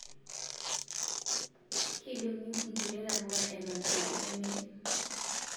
Keidongi nkulie tapuka eton eitu emiri